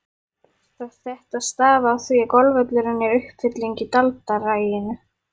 Þetta stafi af því að golfvöllurinn er uppfylling í daldraginu.